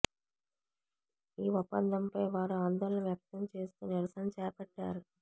ఈ ఒప్పందంపై వారు ఆందోళన వ్యక్తం చేస్తూ నిరసన చేపట్టారు